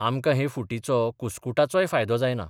आमकां हे फुटीचो कुस्कुटाचोय फायदो जायना.